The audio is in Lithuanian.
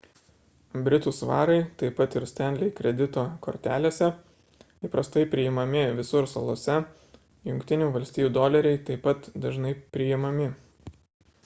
britų svarai taip pat ir stanley kredito kortelėse įprastai priimami visur salose jungtinių valstijų doleriai taip pat dažnai priimami